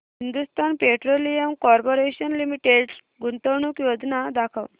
Hindustan Petroleum Corporation Limited गुंतवणूक योजना दाखव